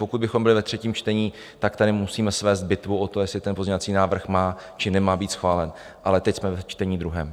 Pokud bychom byli ve třetím čtení, tak tady musíme svést bitvu o to, jestli ten pozměňovací návrh má, či nemá být schválen, ale teď jsme ve čtení druhém.